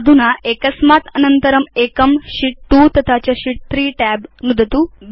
अधुना एकस्मात् अनन्तरं एकं शीत् 2 तथा च शीत् 3 tab नुदतु